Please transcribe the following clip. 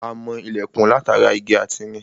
A mọ ilẹ̀kùn látara igi ati irin